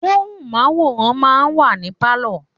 Móhùnmáwòrán máa ń wà ní Pálọ̀.